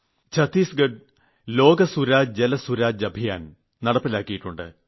Chhattisgarh Lok Suraj Jal Suraj Abhiyan നടപ്പിലാക്കിയിുണ്ട്